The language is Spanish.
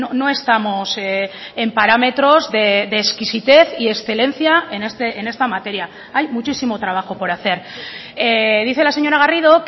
no estamos en parámetros de exquisitez y excelencia en esta materia hay muchísimo trabajo por hacer dice la señora garrido